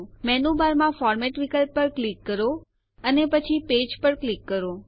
menu બારમાં format વિકલ્પ પર ક્લિક કરો અને પછી પેજ પર ક્લિક કરો